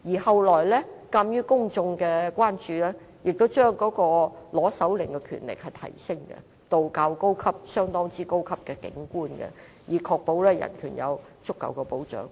後來鑒於公眾的關注，政府也把申請手令的權限提升，要極高級的警官批准才能取得手令，確保人權有足夠的保障。